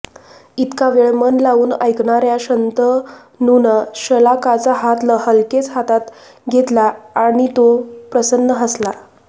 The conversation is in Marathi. इतका वेळ मन लावून ऐकणार्या शंतनूनं शलाकाचा हात हलकेच हातात घेतला नि तो प्रसन्न हसला